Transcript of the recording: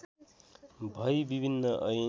भई विभिन्न ऐन